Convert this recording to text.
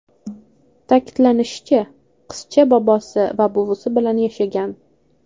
Ta’kidlanishicha, qizcha bobosi va buvisi bilan yashagan.